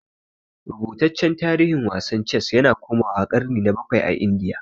Rubutaccen tarihin wasan Ces yana komawa ƙarni na bakwai a Indiya.